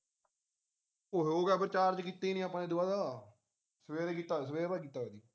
ਓਹੋ ਉਹ ਗਾ ਆਪਾਂ charge ਕੀਤਾ ਹੀ ਨਹੀਂ ਦੁਬਾਰਾ ਸਵੇਰੇ ਕੀਤਾ ਸਵੇਰ ਦਾ ਕੀਤਾ ਹੋਇਆ ਸੀ